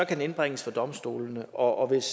den indbringes for domstolene og og hvis